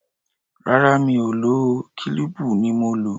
Rárá, Mi ò lò ó, kílíìpù ni mo lò.